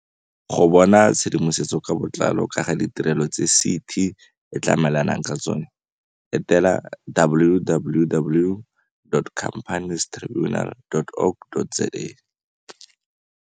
Go bona tshedimosetso ka botlalo ka ga ditirelo tse CT e tlamelanang ka tsona, etela, www.companiestribunal.org.za.